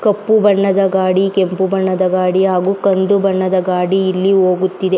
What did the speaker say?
ಕಪ್ಪು ಬಣ್ಣದ ಗಾಡಿ ಕೆಂಪು ಬಣ್ಣದ ಗಾಡಿ ಹಾಗು ಕಂದು ಬಣ್ಣದ ಗಾಡಿ ಇಲ್ಲಿ ಹೋಗುತಿದೆ .